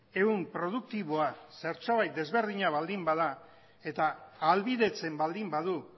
ehun produktiboa zertxobait desberdina baldin bada eta ahalbidetzen baldin badu